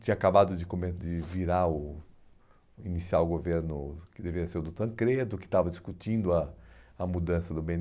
Tinha acabado de come de virar o iniciar o governo, que deveria ser o do Tancredo, que estava discutindo a a mudança do bê ene